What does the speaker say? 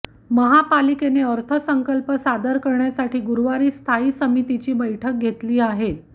महापालिकेने अर्थसंकल्प सादर करण्यासाठी गुरुवारी स्थायी समितीची बैठक घेतली आहे